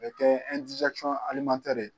O be kɛ ɛndizɛkisɔn alimantɛri ye